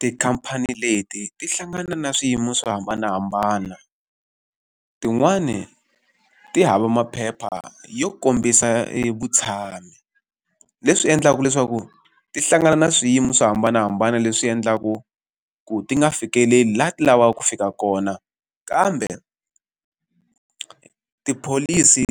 Tikhamphani leti ti hlangana na swiyimo swo hambanahambana. Tin'wani ti hava maphepha yo kombisa evutshamo. Leswi endlaka leswaku ti hlangana na swiyimo swo hambanahambana leswi endlaku ku ti nga fikeleli laha ti lavaka ku fika kona, kambe tipholisi